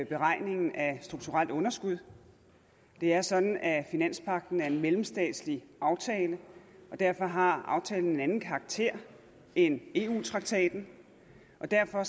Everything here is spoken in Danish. beregningen af strukturelt underskud det er sådan at finanspagten er en mellemstatslig aftale og derfor har aftalen en anden karakter end eu traktaten og derfor